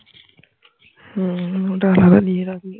হম ওটা আলাদা নিয়ে রাখবি